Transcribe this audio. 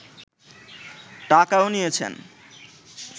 টাকাও নিয়েছেন